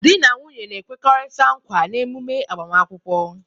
Di na nwunye na-ekwekọrịta nkwa n'ememe agbamakwụkwọ